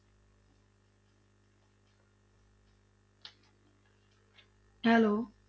Hello